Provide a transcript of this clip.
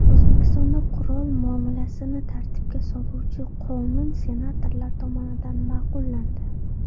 O‘zbekistonda qurol muomalasini tartibga soluvchi qonun senatorlar tomonidan ma’qullandi .